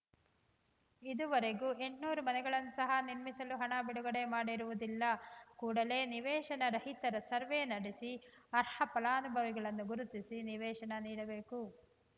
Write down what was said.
ಇದುವರೆಗೂ ಎಂಟನೂರು ಮನೆಗಳನ್ನು ಸಹಾ ನಿರ್ಮಿಸಲು ಹಣ ಬಿಡುಗಡೆ ಮಾಡಿರುವುದಿಲ್ಲ ಕೂಡಲೇ ನಿವೇಶನ ರಹಿತರ ಸರ್ವೇ ನಡೆಸಿ ಅರ್ಹ ಫಲಾನುಭವಿಗಳನ್ನು ಗುರುತಿಸಿ ನಿವೇಶನ ನೀಡಬೇಕು